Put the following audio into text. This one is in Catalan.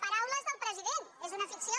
paraules del president és una ficció